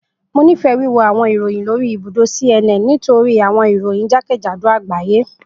Mo nifẹ wiwo awọn iroyin lori ibudo CNN nitori awọn iroyin jakejado agbaye.